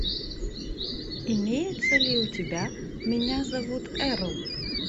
имеется ли у тебя меня зовут эрл